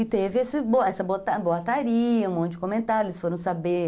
E teve esse essa boataria, um monte de comentário, eles foram saber...